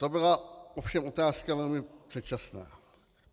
To byla ovšem otázka velmi předčasná.